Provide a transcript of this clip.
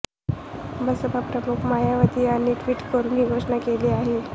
बसपा प्रमुख मायावती यांनी ट्विट करून ही घोषणा केली आहे